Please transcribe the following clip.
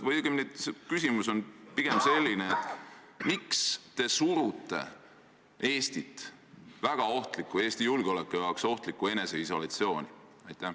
Küsimus on selline: miks te surute Eestit Eesti julgeoleku jaoks ohtlikku eneseisolatsiooni?